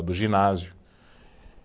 Do ginásio